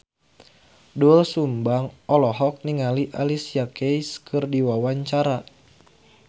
Doel Sumbang olohok ningali Alicia Keys keur diwawancara